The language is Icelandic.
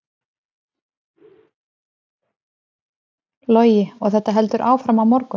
Logi: Og þetta heldur áfram á morgun?